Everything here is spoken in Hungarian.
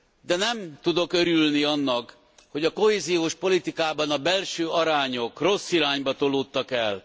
De nem tudok örülni annak, hogy a kohéziós politikában a belső arányok rossz irányba tolódtak el.